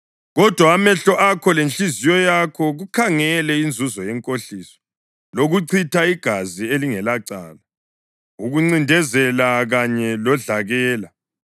“Kodwa amehlo akho lenhliziyo yakho kukhangele inzuzo yenkohliso, lokuchitha igazi elingelacala, ukuncindezela kanye lodlakela.”